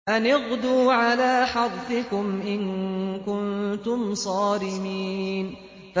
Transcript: أَنِ اغْدُوا عَلَىٰ حَرْثِكُمْ إِن كُنتُمْ صَارِمِينَ